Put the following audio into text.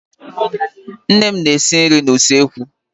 Nne m na-esi nri na-usekwú.